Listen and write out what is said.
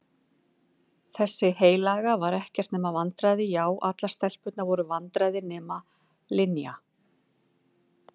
Þessi heilaga var ekkert nema vandræði já allar stelpur voru vandræði nema Linja.